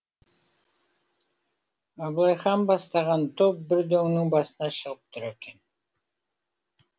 абылай хан бастаған топ бір дөңнің басына шығып тұр екен